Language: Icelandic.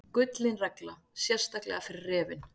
Gullin regla, sérstaklega fyrir refinn.